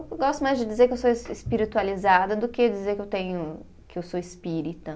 Eu gosto mais de dizer que eu sou es, espiritualizada do que dizer que eu tenho, que eu sou espírita.